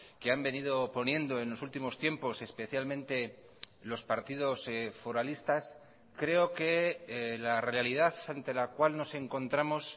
que han venido poniendo en los últimos tiempos especialmente los partidos foralistas creo que la realidad ante la cual nos encontramos